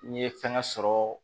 N ye fɛngɛ sɔrɔ